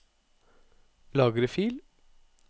Lagre fil